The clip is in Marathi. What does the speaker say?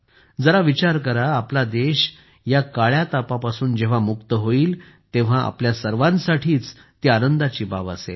जरा विचार करा आपला देश या काळ्या तापापासून जेव्हा मुक्त होईल तेव्हा आपल्या सर्वांसाठीच ती आनंदाची बाब असेल